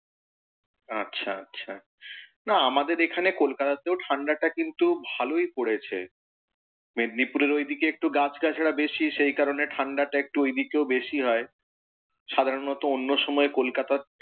আচ্ছা আচ্ছা। না আমাদের এখানে কলকাতাতেও ঠাণ্ডাটা কিন্তু ভালই পড়েছে। মেদিনিপুরের ওইদিকে একটু গাছ গাছারা বেশী সেইকারনেই ঠাণ্ডাটা একটু ওই দিকেও বেশী হয়, সাধারণত অন্য সময় কলকাতার,